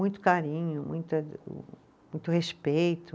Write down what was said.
Muito carinho, muita o, muito respeito.